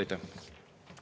Aitäh!